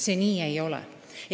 See nii ei ole.